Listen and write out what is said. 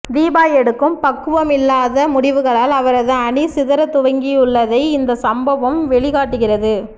தீபா எடுக்கும் பக்குவமில்லாத முடிவுகளால் அவரது அணி சிதற துவங்கியுள்ளதை இந்த சம்பவம் வெளிக்காட்டுகிறது